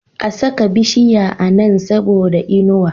A saka bishiya a Nan saboda inuwa